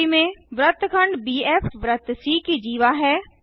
आकृति में वृत्तखंड बीएफ वृत्त सी की जीवा है